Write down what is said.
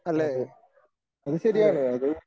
അതെ അത് ശരിയാണ് അത്